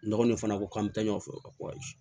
Nɔgɔn in fana ko k'an bɛ taa ɲɔgɔn fɛ ko ayi